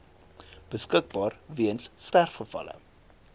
beskikbaar weens sterfgevalle